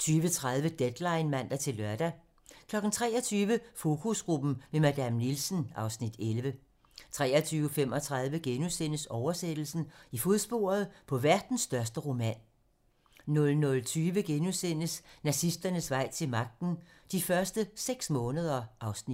22:30: Deadline (man-lør) 23:00: Fokusgruppen - med Madame Nielsen (Afs. 11) 23:35: Oversættelsen - i fodsporet på verdens største roman * 00:20: Nazisternes vej til magten: De første seks måneder (Afs. 2)*